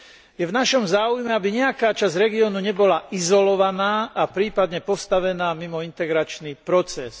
Je v našom záujme, aby nejaká časť regiónu nebola izolovaná a prípadne postavená mimo integračný proces.